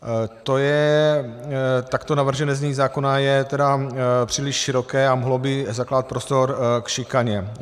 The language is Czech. Takto navržené znění zákona je tedy příliš široké a mohlo by zakládat prostor k šikaně.